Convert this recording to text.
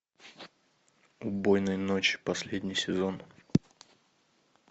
убойной ночи последний сезон